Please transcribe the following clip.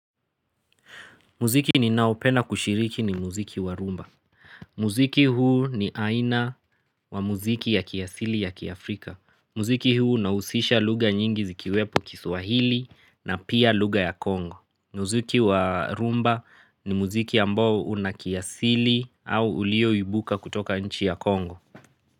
Muziki ni nao pena kushiriki ni muziki wa rumba. Muziki huu ni aina wa muziki ya kiasili ya Kiafrika. Muziki huu na usisha luga nyingi zikiwepo kiswahili na pia luga ya Kongo. Muziki wa rumba ni muziki ya mbo unakiasili au ulio yubuka kutoka nchi ya Kongo.